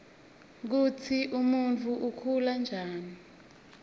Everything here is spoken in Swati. kutsi umuntfu ukhula njani